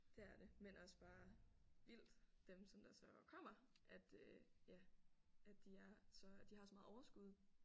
Det er det men også bare vildt dem som der så kommer at øh ja at de er så de har så meget overskud